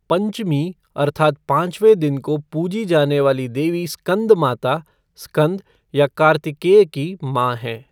पंचमी अर्थात् पांचवें दिन को पूजी जाने वाली देवी स्कंदमाता, स्कंद या कार्तिकेय की मां हैं।